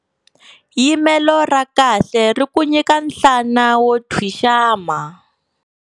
Yimelo ra kahle ri ku nyika nhlana wo thwixama.